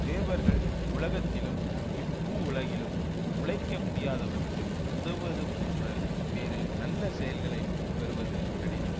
தேவர்கள் உலகத்திலும் இப்பூவுலகிலும் உழைக்க முடியாதவர்க்கு உதவுவது போன்ற வேறு நல்ல செயல்களை பெறுவது கடினம்